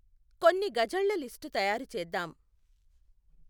కొన్ని ఘజళ్ళ లిస్టు తయారు చేద్దాం